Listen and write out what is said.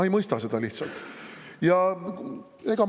Ma lihtsalt ei mõista seda.